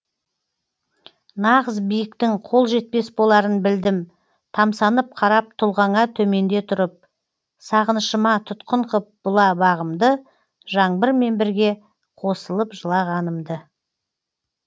нағыз биіктің қол жетпес боларын білдім тамсанып қарап тұлғаңа төменде тұрып сағынышыма тұтқын қып бұла бағымды жаңбырмен бірге қосылып жылағанымды